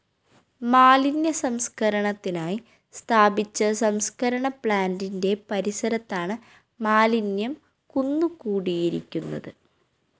മാലിന്യസംസ്‌കരണത്തിനായി സ്ഥാപിച്ച സംസ്‌കരണ പ്ലാന്റിന്റെ പരിസരത്താണ് മാലിന്യം കുന്നു കുടിയിരിക്കുന്നത്